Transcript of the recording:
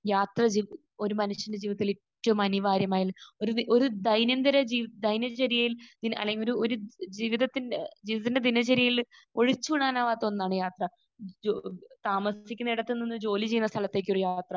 യാത്ര ചെ ഒരു മനുഷ്യന്റെ ജീവിതത്തിൽ ഏറ്റവും അനിവാര്യമായ ഒരു ഒരു ദൈനംദിന ജീവിത ദൈനംചര്യയിൽ അല്ലെങ്കിൽ ഒരു ജീവിതത്തിന്റെ ജീവിതത്തിന്റെ ദിനചര്യയിൽ ഒഴിച്ച് കൂടാനാവാത്ത ഒന്നാണ് യാത്ര. ജോ...താമസിക്കുന്നിടത്ത് നിന്ന് ജോലി ചെയ്യുന്ന സ്ഥലത്തേക്ക് ഒരു യാത്ര